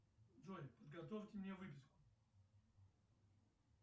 джой подготовьте мне выписку